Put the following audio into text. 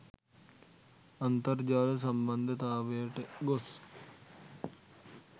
අන්තර්ජාල සම්න්බන්ධතාවයට ගොස්